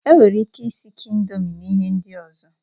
Enwere ike isikọ indomi na ihe ndị ọzọ